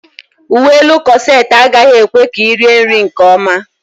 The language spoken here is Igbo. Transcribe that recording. Uwe elu kọset agaghị ekwe ka ị rie nri nkeọma.